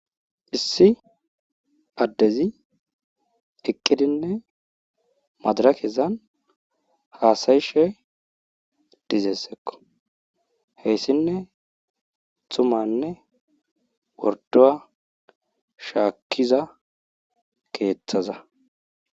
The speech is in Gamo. Issi addezi eqqidinne madirekezan haasayishe dizeskko hesinne tummanne worduwa shaakiza keethaza.